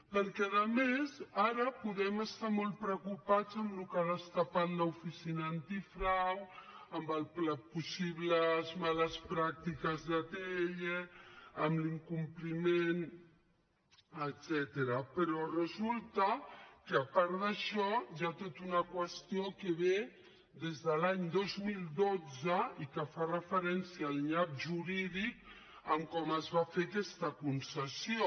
perquè a més ara podem estar molt preocupats amb el que ha destapat l’oficina antifrau amb les possibles males pràctiques d’atll amb l’incompliment etcètera però resulta que a part d’això hi ha tota una qüestió que ve des de l’any dos mil dotze i que fa referència al nyap jurídic de com es va fer aquesta concessió